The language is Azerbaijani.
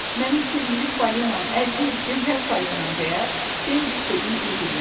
Mənim sevimli Fadinam, əziz, gözəl Fadinam deyə Bimbi sevinclə dilləndi.